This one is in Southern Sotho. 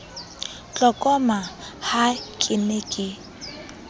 tlokoma ha ke ne ke